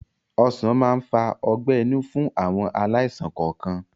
Ọsán máa ń fa ọgbẹ́-inú fún àwọn aláìsàn kọọkan